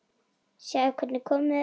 Sjáðu hvernig komið er.